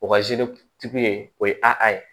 O ka tigi ye o ye a a ye